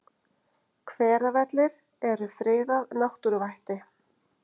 Hveravellir eru friðað náttúruvætti.